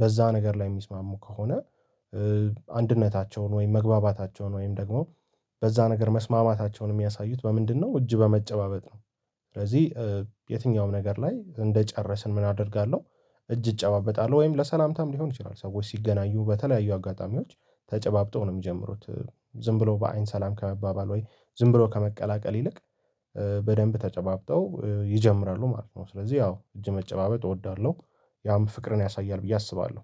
በዛ ነገር ላይ የሚስማሙ ከሆነ አንድነታቸውን ወይም መግባባታቸውን ወይም ደግሞ በዛ ነገር መስማማታቸውን የሚያሳዩት በምንድነው እጅ በመጨባበጥ ነው። ስለዚህ የትኛውም ነገር ላይ እንደጨረስን ምን አደርጋለሁ? እጅ እጨባበጣለሁ ወይም ለሰላምታም ሊሆን ይችላል። ሰዎች ሲገናኙ በተለያዩ አጋጣሚዎች ተጨባብጠው ነው የሚጀምሩት። ዝም ብለው በአይን ሰላም ከመባባል ወይ ዝም ብለው ከመቀላቀል ይልቅ በደንብ ተጨባብጠው ይጀምራሉ ማለት ነው። ስለዚህ ያው እጅ መጨባበጥ እወዳለሁ ያም ፍቅርን ያሳያል ብዬ አስባለሁ።